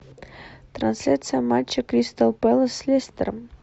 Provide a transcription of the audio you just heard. трансляция матча кристал пэлас с лестером